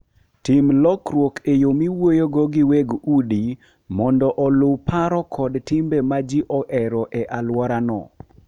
Tim lokruok e yo miwuoyogo gi weg udi mondo oluw paro kod timbe ma ji ohero e alworano.